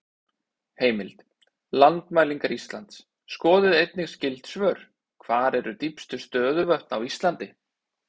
Heimild: Landmælingar Íslands Skoðið einnig skyld svör: Hver eru dýpstu stöðuvötn á Íslandi?